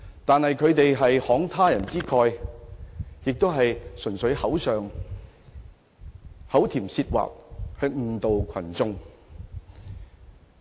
但是，他們是慷他人之慨，純粹口甜舌滑誤導群眾。